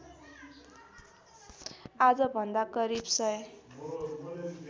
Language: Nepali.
आजभन्दा करिब सय